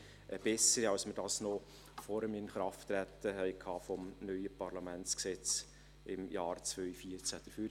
eine bessere Sicht, als wir sie noch vor dem Inkrafttreten des neuen Parlamentsgesetzes im Jahr 2014 hatten.